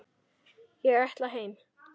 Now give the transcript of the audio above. Ég ætla heim!